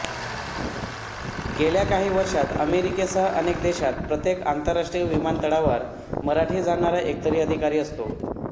गेल्या काही वर्षात अमेरिकेसह अनेक देशात प्रत्येक आंतरराष्ट्रीय विमानतळावर मराठी जाणणारा एकतरी अधिकारी असतो